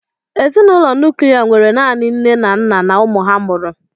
Ezinụlọ nuklia nwere naanị nne na nna na ụmụ ha mụrụ.